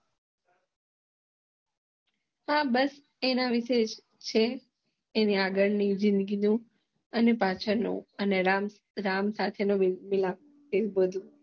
હા બસ એના વિષે છે એની આગળ ની જીંદગી બૌ અને પાછળનો અને રામ સાથે નો મીલાપ એજ બધું